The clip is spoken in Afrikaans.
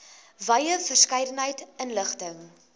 wye verskeidenheid inligting